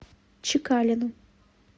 чекалину